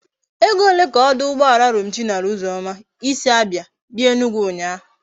Ego ole ka oduugboala Romchi nara uzoma i si Abia bia Enugwu unya?